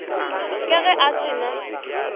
ka ge a se na